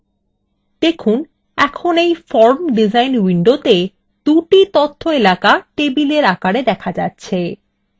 দেখুন in in form design window দুটি তথ্য এলাকা tabular আকারে data যাচ্ছে